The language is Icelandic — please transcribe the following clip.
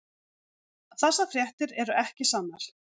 Þessar fréttir eru ekki sannar.